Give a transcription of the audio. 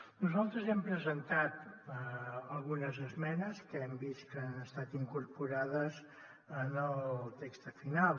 nosaltres hem presentat algunes esmenes que hem vist que han estat incorporades en el text final